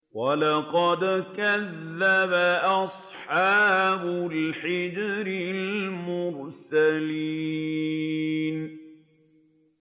وَلَقَدْ كَذَّبَ أَصْحَابُ الْحِجْرِ الْمُرْسَلِينَ